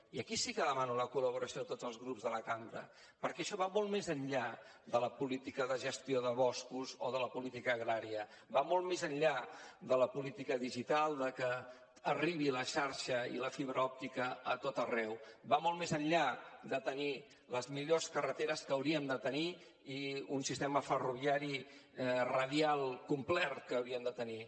i aquí sí que demano la col·laboració de tots els grups de la cambra perquè això va molt més enllà de la política de gestió de boscos o de la política agrària va molt més enllà de la política digital de que arribi la xarxa i la fibra òptica a tot arreu va molt més enllà de tenir les millors carreteres que hauríem de tenir i un sistema ferroviari radial complert que hauríem de tenir